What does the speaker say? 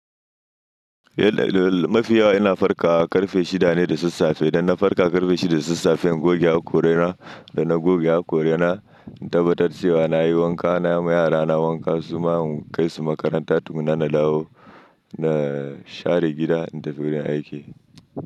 Eh, mafi yawa ina farkawa ƙarfe shida ne da sassafe. Idan na farka ƙarfe shida da sassafe, in goge hakorina, da na goge hakorina in tabbatar cewa na yi wanka, na yi ma yara na wanka, su ma in kai su makaranta, tukunna na dawo, na share gida, in tafi wurin aiki.